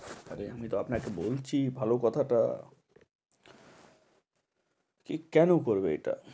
আরে আমি তো আপনাকে বলছি, ভালো কথাটা এ কেন করবে এটা?